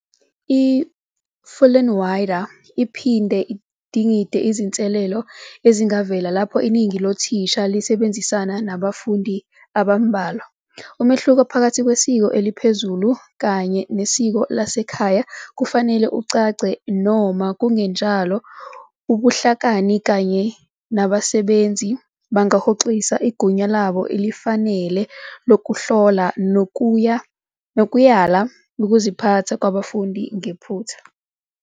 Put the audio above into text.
I-Fullinwider iphinde idingide izinselelo ezingavela lapho iningi lothisha lisebenzisana nabafundi abambalwa, umehluko phakathi "kwesiko eliphezulu" kanye "nesiko lasekhaya" kufanele ucace noma kungenjalo ubuhlakani kanye nabasebenzi bangahoxisa igunya labo elifanele lokuhlola nokuyala ukuziphatha kwabafundi ngephutha.